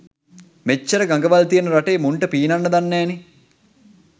මෙච්චර ගඟවල් තියෙන රටේ මුන්ට පීනන්න දන්නෑනේ.